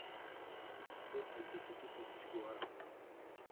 стоимость десяти тысяч гуарани